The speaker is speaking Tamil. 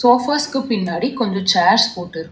சோஃபாஸ்க்கு பின்னாடி கொஞ்சோ சேர்ஸ் போட்டுருக்--